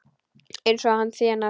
Eins og hann þénar!